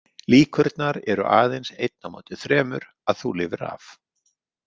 Líkurnar eru aðeins einn á móti þremur að þú lifir af.